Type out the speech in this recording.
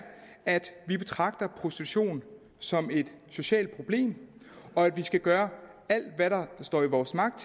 at vi betragter prostitution som et socialt problem og at vi skal gøre alt hvad der står i vores magt